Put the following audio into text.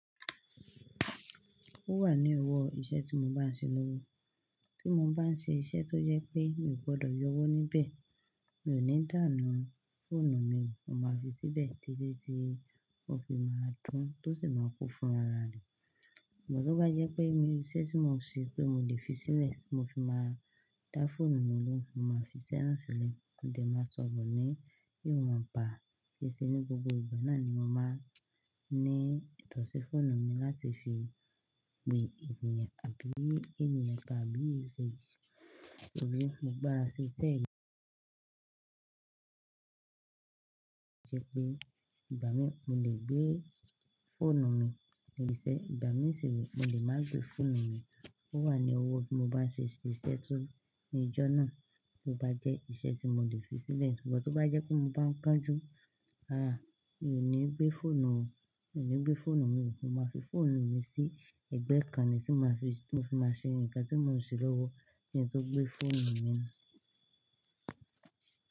Ó wà ní owó iṣẹ́ tí mo bá ń ṣe lọ́wọ́. Tí mo bá ń ṣe iṣẹ́ tó jẹ́ pé mi ò gbọ́dọ̀ yọ ọwọ́ níbẹ̀, mi ò ní dàhun fóònù mi, mo máa fi síbẹ̀ títí tí ó fi máa dún, tó sì máa kú fún ra ara rẹ. Ṣùgbọ́n tó bá jẹ́ pé ẹnu ní iṣẹ́ tí mò ń ṣe pé mo lè fi sílẹ̀, tí mo fi máa dá fóònù mi lóhùn, mo máa fi iṣẹ́ náà sílẹ̀, mo dé máa sọ̀rọ̀ ni iwọnba, kìí ṣe ní gbogbo ìgbà náà ni mo máa ní ìtọ̀sí fóònù mi láti fi gbé ènìyàn àbí ènìyàn tàbí ìṣe. Torí mo gbára ṣe iṣẹ́ yì ṣẹ́ pé ìgbà mi mo lè gbé fóònù mi níṣẹ́, ìgbà mi sì rẹ̀ mo lè má gbé fóònù mi. Ó wà ní ọwọ́ tí mo bá ṣe iṣẹ́ tó ní ọjọ́ náà, tí ó bá jẹ́ iṣẹ́ tí mo lè fi sílẹ̀. Ṣùgbọ́n tó bá jẹ́ pé mo bá ń kánjú, àà, mi ò ní gbé fóònù ó, mi ò ní gbé fóònù mi, mo máa fi fóònù mi sí ẹ̀gbẹ́ kan ni tí mo fi máa ṣe ǹkan tí mò ń ṣe lọ́wọ́ kin to tó gbé fóònù mi nù.